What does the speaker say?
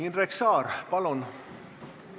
Indrek Saar, palun!